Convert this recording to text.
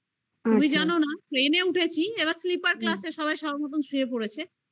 তুমি জানো না plain -এ উঠেছি এবার sleeper class এ সবাই সবার মত শুয়ে পড়েছে